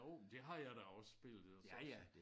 Jo men det har jeg da også spillet altså også